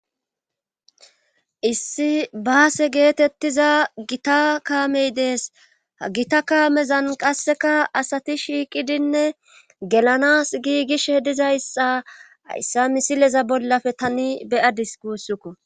issi baase geetettiza gita kaamey dees ha gita kaamezan qasseka asati shiiqidinne gelanas giigish hedizaysxa hayssa misileza bollafe tani beyadis guussukko